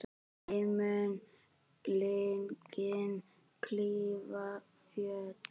Ei mun linkind klífa fjöll.